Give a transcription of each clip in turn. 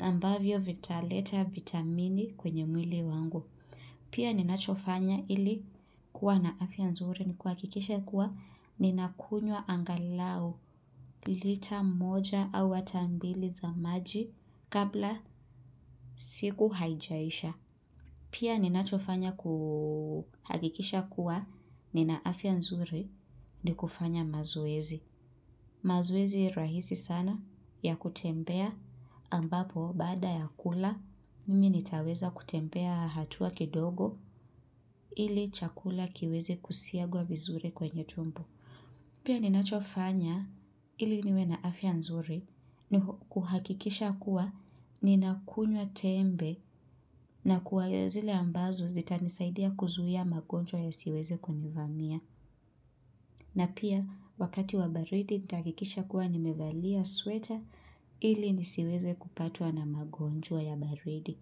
ambavyo vitaleta vitamini kwenye mwili wangu. Pia ninachofanya ili kuwa na afya nzuri ni kuhakikisha kuwa ninakunywa angalau lita moja au hata mbili za maji kabla siku haijaisha. Pia ninachofanya kuhakikisha kuwa nina afya nzuri ni kufanya mazoezi. Mazoezi rahisi sana ya kutembea ambapo baada ya kula mimi nitaweza kutembea hatua kidogo ili chakula kiwezi kusiagwa vizuri kwenye tumbo. Pia ninachofanya ili niwe na afya nzuri ni kuhakikisha kuwa ninakunywa tembe na kuwa ya zile ambazo zita nisaidia kuzuia magonjwa ya siweze kunivamia. Na pia wakati wa baridi nitahakikisha kuwa nimevalia sweater ili nisiweze kupatwa na magonjwa ya baridi.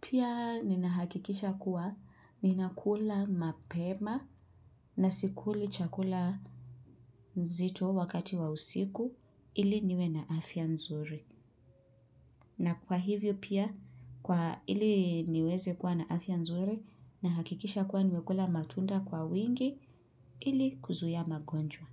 Pia ninahakikisha kuwa ninakula mapema na sikuli chakula nzito wakati wa usiku ili niwe na afya nzuri. Na kwa hivyo pia kwa ili niweze kuwa na afya nzuri na hakikisha kuwa niwekula matunda kwa wingi ili kuzuia magonjwa.